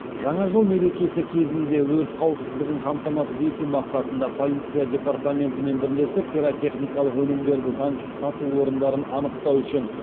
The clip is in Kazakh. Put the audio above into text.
жаңа жыл мерекесі кезінде өрт қауіпсіздігін қамтамасыз ету мақсатында полиция департаментімен бірлесіп пиротехникалық өнімдерді заңсыз сату орындарын анықтау үшін